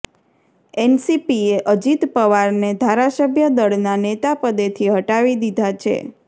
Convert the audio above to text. એનસીપીએ અજીત પવારને ધારાસભ્ય દળના નેતા પદેથી હટાવી દીધા છે